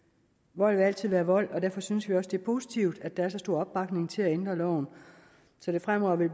vold vil altid være vold og derfor synes vi også det er positivt at der er så stor opbakning til at ændre loven så det fremover vil